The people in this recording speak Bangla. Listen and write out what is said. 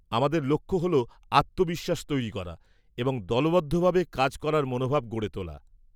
আমাদের লক্ষ্য হল আত্মবিশ্বাস তৈরি করা এবং দলবদ্ধভাবে কাজ করার মনোভাব গড়ে তোলা।